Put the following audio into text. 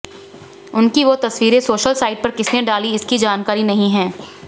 उनकी वो तस्वीरें सोशल साइट पर किसने डाली इसकी जानकारी नहीं है